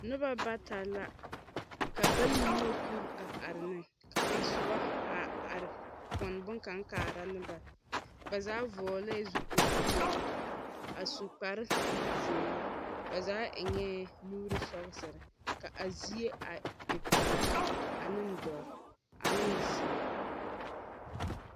Noba bata la, ka bayi nyɔge kur a are ne. Ka kaŋ soba a ar pɔn boŋkaŋ kaara ne ba. Ba zaa vɔɔlɛɛ zupilpeɛl a su kparzeer. Ba zaa eŋɛɛ nuur sɔgesere. Ka a zie a e pelaa aneŋ dɔr aneŋ zeɛ